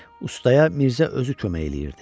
Ustaya Mirzə özü kömək eləyirdi.